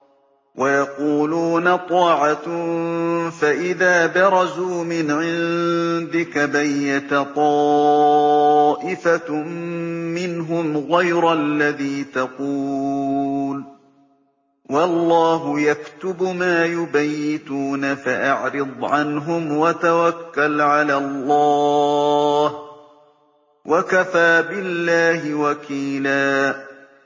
وَيَقُولُونَ طَاعَةٌ فَإِذَا بَرَزُوا مِنْ عِندِكَ بَيَّتَ طَائِفَةٌ مِّنْهُمْ غَيْرَ الَّذِي تَقُولُ ۖ وَاللَّهُ يَكْتُبُ مَا يُبَيِّتُونَ ۖ فَأَعْرِضْ عَنْهُمْ وَتَوَكَّلْ عَلَى اللَّهِ ۚ وَكَفَىٰ بِاللَّهِ وَكِيلًا